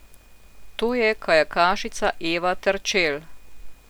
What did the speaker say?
To je kajakašica Eva Terčelj.